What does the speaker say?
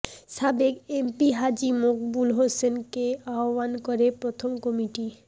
সাবেক এমপি হাজী মকবুল হোসেনকে আহ্বায়ক করে প্রথম কমিটি